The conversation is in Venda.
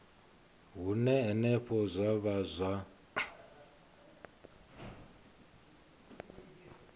hune henefho zwa vha zwa